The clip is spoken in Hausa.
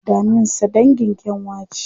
Daminsa dangin kyanwa ce.